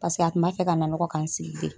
a tun b'a fɛ ka nanɔgɔ ka n sigi de.